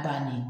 banni